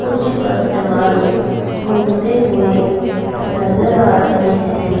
कुछ कस्टमर्स घूमते हुए नजर आ रहे हैं।